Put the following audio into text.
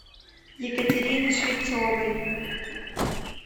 екатерины швецовой